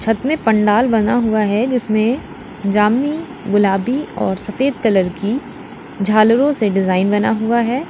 छत में पंडाल बना हुआ है जिसमे जामनी गुलाबी और सफेद कलर की झालरों से डिजाइन बना हुआ है।